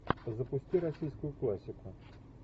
запусти российскую классику